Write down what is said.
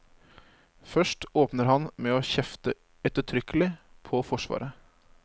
Først åpner han med å kjefte ettertrykkelig på forsvaret.